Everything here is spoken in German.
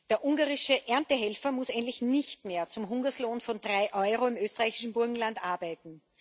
Der ungarische Erntehelfer muss endlich nicht mehr zum Hungerlohn von drei Euro im österreichischen Burgenland arbeiten.